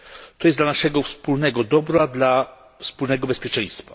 To jest dla naszego wspólnego dobra, dla wspólnego bezpieczeństwa.